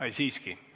Ai, siiski.